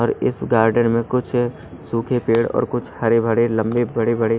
और इस गार्डन में कुछ सूखे पेड़ और कुछ हरे भरे लंबे बड़े बड़े--